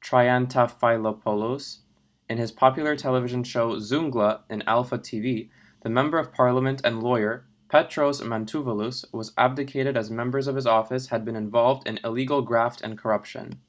triantafylopoulos in his popular television show zoungla in alpha tv the member of parliament and lawyer petros mantouvalos was abdicated as members of his office had been involved in illegal graft and corruption